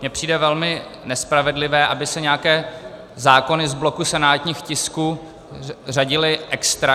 Mně přijde velmi nespravedlivé, aby se nějaké zákony z bloku senátních tisků řadily extra.